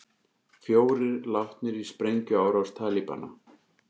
Fjórir látnir í sprengjuárás Talibana